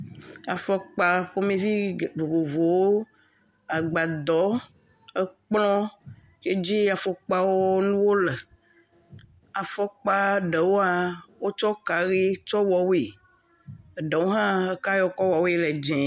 Afɔkpa ƒomevi vovovowo agbadɔ, ekplɔ ke dzi afɔkpawo le, afɔkpa ɖewoa, wotsɔ ka ʋi wɔwoe eɖewo hã eka yi wotsɔ wɔwoe le dzɛ̃e.